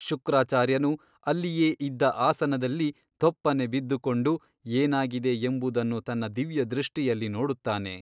ಶುಕ್ರಾಚಾರ್ಯನು ಅಲ್ಲಿಯೇ ಇದ್ದ ಅಸನದಲ್ಲಿ ಧೊಪ್ಪನೆ ಬಿದ್ದುಕೊಂಡು ಏನಾಗಿದೆ ಎಂಬುದನ್ನು ತನ್ನ ದಿವ್ಯದೃಷ್ಟಿಯಲ್ಲಿ ನೋಡುತ್ತಾನೆ.